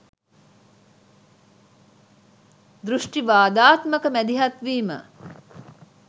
දෘෂ්ටිවාදාත්මක මැදිහත්වීම